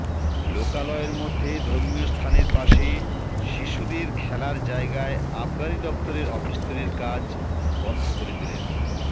লোকালয়ের মধ্যে ধর্মীয়স্থানের পাশে শিশুদের খেলার জায়গায় আবগারি দফতরের অফিস তৈরির কাজ বন্ধ করে দিলেন